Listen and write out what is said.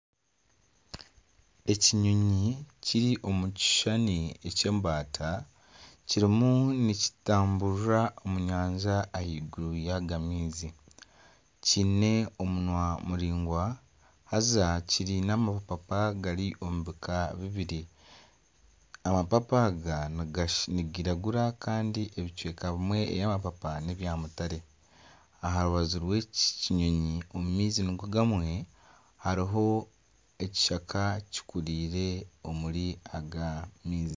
Ekinyonyi kiri omu kishuushani eky'embata kirimu nikitamburira omu nyanja ahaiguru yago maizi kiine omunwa muraingwa haza kiine amapapa gari omu bika bibiri amapapa aga nigiragura kandi ebicweka ebimwe eby'amapapa nebya mutare aha rubaju rwe eki kinyonyi omu maizi nigo gamwe hariho ekishaka kikurire omuri aga maizi.